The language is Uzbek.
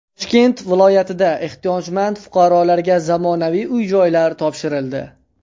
Toshkent viloyatida ehtiyojmand fuqarolarga zamonaviy uy-joylar topshirildi.